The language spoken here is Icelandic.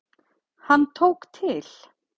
Hann tók til.